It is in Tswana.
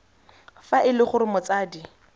fa e le gore motsadi